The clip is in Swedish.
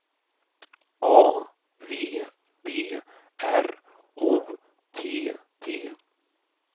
A V B R O T T